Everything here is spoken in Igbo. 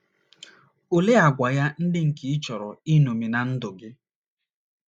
Olee àgwà ya ndị nke ị chọrọ iṅomi ná ndụ gị?